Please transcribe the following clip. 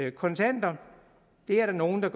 i kontanter er der nogle der